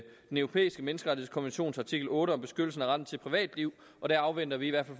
europæiske menneskerettighedskonventions artikel otte om beskyttelsen af retten til privatliv og der afventer vi i hvert